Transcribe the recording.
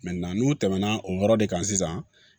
n'u tɛmɛna o yɔrɔ de kan sisan